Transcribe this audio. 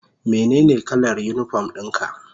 Menene kalar unipom ɗin ka?